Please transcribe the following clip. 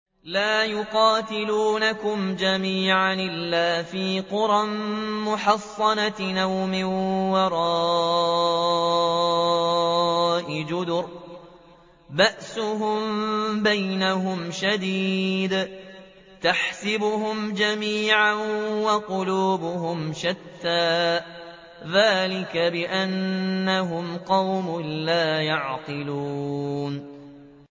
لَا يُقَاتِلُونَكُمْ جَمِيعًا إِلَّا فِي قُرًى مُّحَصَّنَةٍ أَوْ مِن وَرَاءِ جُدُرٍ ۚ بَأْسُهُم بَيْنَهُمْ شَدِيدٌ ۚ تَحْسَبُهُمْ جَمِيعًا وَقُلُوبُهُمْ شَتَّىٰ ۚ ذَٰلِكَ بِأَنَّهُمْ قَوْمٌ لَّا يَعْقِلُونَ